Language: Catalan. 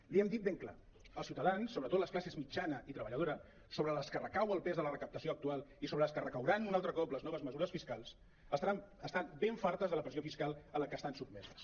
l’hi hem dit ben clar els ciutadans sobretot les classes mitjana i treballadora sobre les que recau el pes de la recaptació actual i sobre les que recauran un altre cop les noves mesures fiscals estan ben fartes de la pressió fiscal a la que estan sot·meses